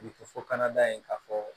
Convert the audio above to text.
fo kana da yen k'a fɔ